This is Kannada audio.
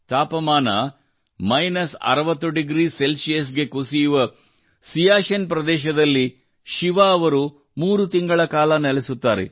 ತಾಪಮಾನ ಮೈನಸ್ ಅರವತ್ತು ಡಿಗ್ರಿ ಸೆಲ್ಷಿಯಸ್ ಗೆ ಕುಸಿಯುವ ಸಿಯಾಚಿನ್ ಪ್ರದೇಶದಲ್ಲಿ ಶಿವಾ ಅವರು ಮೂರು ತಿಂಗಳ ಕಾಲ ನೆಲೆಸುತ್ತಾರೆ